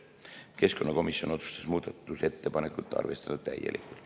Keskkonnakomisjon otsustas muudatusettepanekut arvestada täielikult.